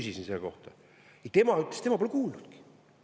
Ma küsisin selle kohta ja tema ütles, et tema pole kuulnudki.